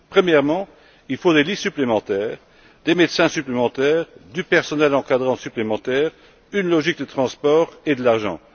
Premièrement, il faut des lits supplémentaires, des médecins supplémentaires, du personnel d'encadrement supplémentaire, une logique de transport et de l'argent.